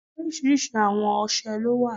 Oriṣiriṣi awon ọṣẹ lo wa